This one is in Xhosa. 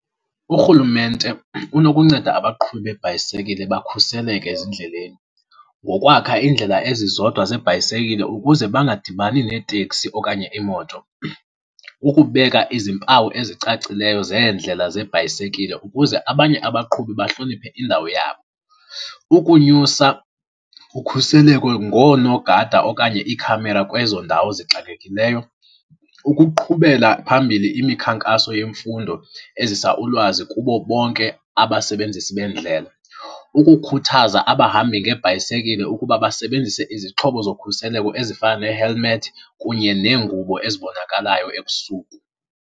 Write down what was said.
Urhulumente unokunceda abaqhubi beebhayisekile bakhuseleke ezindleleni ngokwakha iindlela ezizodwa zebhayisekile ukuze bangadibani neetekisi okanye iimoto. Ukubeka izimpawu ezicacileyo zeendlela zebhayisekile ukuze abanye abaqhubi bahloniphe indawo yabo. Ukunyusa ukhuseleko ngoonogada okanye iikhamera kwezo ndawo zixakekileyo. Ukuqhubela phambili imikhankaso yemfundo ezisa ulwazi kubo bonke abasebenzisi beendlela. Ukukhuthaza abahambi ngebhayisekile ukuba basebenzise izixhobo zokhuseleko ezifana nee-helmet kunye neengubo ezibonakalayo ebusuku.